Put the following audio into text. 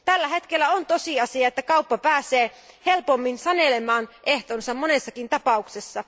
Tällä hetkellä on tosiasia, että kauppa pääsee helpommin sanelemaan ehtonsa monessakin tapauksessa.